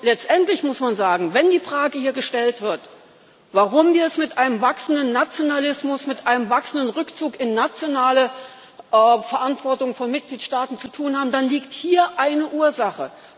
Letztendlich muss man sagen Wenn die Frage hier gestellt wird, warum wir es mit einem wachsenden Nationalismus, mit einem wachsenden Rückzug in nationale Verantwortung von Mitgliedstaaten zu tun haben, dann liegt hier eine Ursache.